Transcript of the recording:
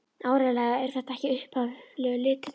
Áreiðanlega eru þetta ekki upphaflegu litirnir.